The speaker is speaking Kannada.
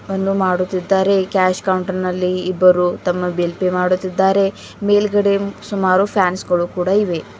ವನ್ನು ಮಾಡುತ್ತಿದ್ದಾರೆ ಕ್ಯಾಶ್ ಕೌಂಟರ್ ನಲ್ಲಿ ಇಬ್ಬರು ತಮ್ಮ ಬಿಲ್ ಪೆ ಮಾಡುತ್ತಿದ್ದಾರೆ ಮೇಲ್ಗಡೆ ಸುಮಾರು ಫ್ಯಾನ್ಸ್ ಗಳು ಕೂಡ ಇವೆ.